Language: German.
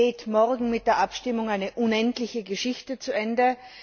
Es geht morgen mit der Abstimmung eine unendliche Geschichte zu Ende.